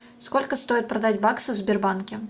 сколько стоит продать баксы в сбербанке